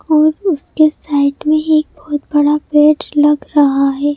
और उसके साइड में एक बहुत बड़ा पेट लग रहा है।